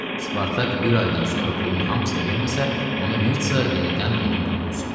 Spartak bir aydan sonra pulun hamısını verməsə, onda Mirtsa yenidən onun qulu olsun.